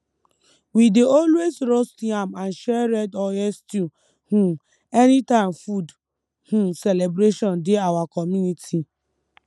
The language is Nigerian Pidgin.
we dey always roast yam and share red oil stew um anytime food um celebration dey our community